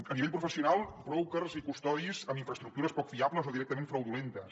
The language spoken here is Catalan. a nivell professional brokers i custodis amb infraestructures poc fiables o directament fraudulentes